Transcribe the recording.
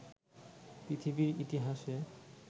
পৃথিবীর ইতিহাসে